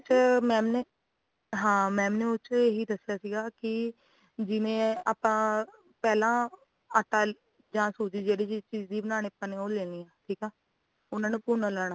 ਉਹਦੇ ਚ mam ਨੇ ਹਾਂ mam ਨੇ ਉਹਦੇ ਚ ਇਹ ਹੀ ਦਸਿਆ ਸੀਗਾ ਕਿ ਜਿਵੇਂ ਆਪਾ ਪਹਿਲਾਂ ਆਟਾ ਜਾਂ ਸੂਜ਼ੀ ਜਿਹੜੀ ਚੀਜ਼ ਦੀ ਬਨਾਨੀ ਆਂ ਆਪਾਂ ਨੇ ਉਹ ਲੈਣੀ ਆ ਠੀਕ ਆ ਉਹਨਾਂ ਨੂੰ ਭੁਨ ਲੈਣਾਂ